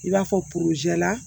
I b'a fɔ la